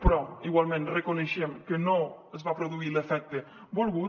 però igualment reconeixem que no es va produir l’efecte volgut